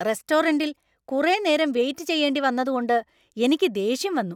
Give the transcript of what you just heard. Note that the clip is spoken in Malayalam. റെസ്റ്റോറന്‍റിൽ കുറെ നേരം വെയിറ്റ് ചെയ്യേണ്ടി വന്നതുകൊണ്ട് എനിക്ക് ദേഷ്യം വന്നു.